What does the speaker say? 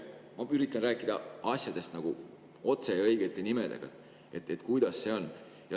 Ma üritan rääkida asjadest otse ja õigete nimedega, kuidas on.